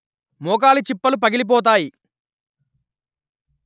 మోకాలి చిప్పలు పగిలిపోతాయి